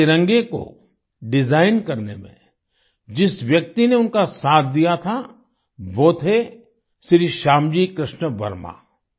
इस तिरंगे को डिजाइन करने में जिस व्यक्ति ने उनका साथ दिया था वो थे श्री श्यामजी कृष्ण वर्मा